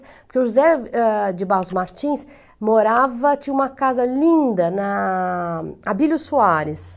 Porque o José de Barros Martins morava, tinha uma casa linda na Abílio Soares.